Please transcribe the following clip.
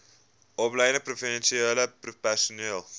opgeleide professionele personeel